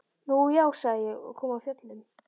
Nú já, sagði ég og kom af fjöllum.